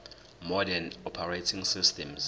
modern operating systems